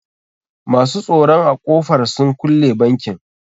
Masu tsoron a ƙofar sun kulle bankin.